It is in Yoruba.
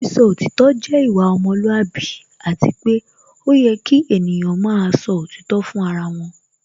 Sísọ òtítọ́ jẹ́ ìwà ọmọlúwàbí Àti pé ó yẹ kí ènìyàn máa sọ òtítọ́ fún ara wọn